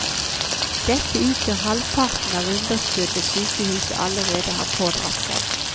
Dette utgjør halvparten av underskuddet sykehuset allerede har pådratt seg.